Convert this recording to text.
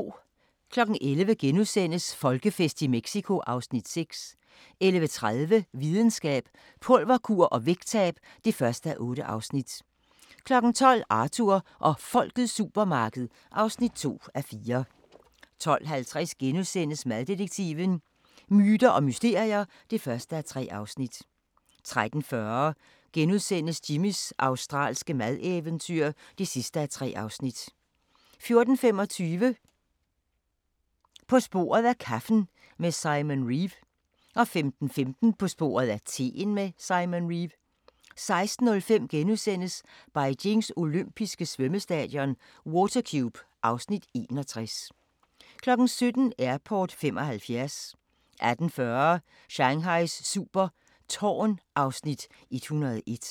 11:00: Folkefest i Mexico (Afs. 6)* 11:30: Videnskab: Pulverkur og vægttab (1:8) 12:00: Arthur og Folkets supermarked (2:4) 12:50: Maddetektiven: Myter og mysterier (1:3)* 13:40: Jimmys australske madeventyr (3:3)* 14:25: På sporet af kaffen med Simon Reeve 15:15: På sporet af teen med Simon Reeve 16:05: Beijings olympiske svømmestadion – Water Cube (Afs. 61)* 17:00: Airport '75 18:40: Shanghais super tårn (Afs. 101)